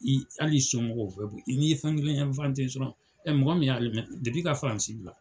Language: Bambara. I hali i somɔgɔw u bɛɛ bi ,n'i ye fɛn kelen dɔrɔn .Ɛɛ mɔgɔ min ye ka Faransi